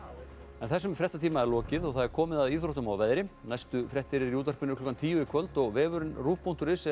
þessum fréttatíma er lokið og komið að íþróttum og veðri næstu fréttir eru í útvarpi klukkan tíu í kvöld og vefurinn ruv punktur is er